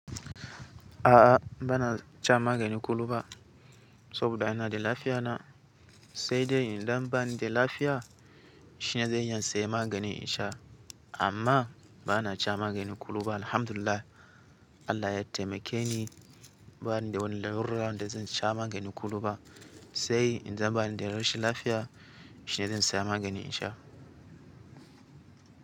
A'a, ba na can magani kullum ba saboda ina da lafiya na. Sai dai in dan bani da lafiya shine zan iya saye magani in sha. Amma ba na ca magani kullum ba. Alhamdulillahi Allah ya taimake ni, bani da wani larura da zan ca magani kullum ba. Sai in zan bani da rashin lafiya shine zan saya magani in sha.